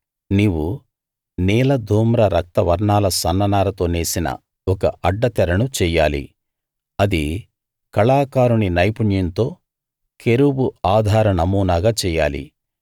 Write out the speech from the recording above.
నీవు నీల ధూమ్ర రక్త వర్ణాల సన్న నారతో నేసిన ఒక అడ్డ తెరను చెయ్యాలి అది కళాకారుని నైపుణ్యంతో కెరూబు ఆధార నమూనాగా చెయ్యాలి